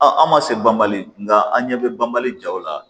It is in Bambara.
A an ma se banbali nga an ɲɛ bɛ banbali jaw la